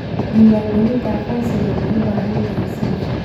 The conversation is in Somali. Diiwaangelinta aqoonsigu waxay u baahan tahay si hufan.